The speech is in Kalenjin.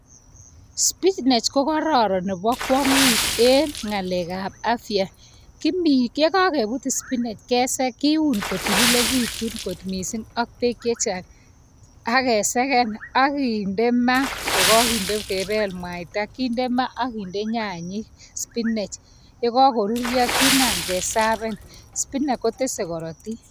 Spinach ko kororon nebo kwongut en ngalekab afya kimi yekokebut spinach keseke kiwon kotililekitun kot missing ak beek chechang akeseken akinde maa ko kakebel mwaitab kinde maa ak kinde nyanyik spinach. Yekokinde maa kinam keserven spinach kotesetai korotik spinach ko korotik.